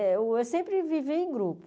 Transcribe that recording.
Eu sempre vivi em grupo.